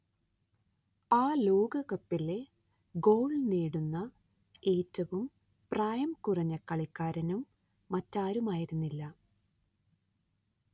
ആ ലോകകപ്പിലെ ഗോൾ നേടുന്ന ഏറ്റവും പ്രായം കുറഞ്ഞ കളിക്കാരനും മറ്റാരുമായിരുന്നില്ല